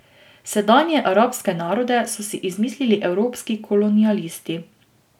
Sedanje arabske narode so si izmislili evropski kolonialisti.